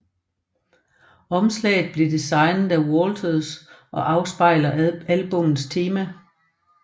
Omslaget blev designet af Waters og afspejler albummets tema